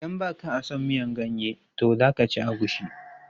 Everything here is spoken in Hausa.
Idan ba ka a son miyan ganye to za ka ci agushi.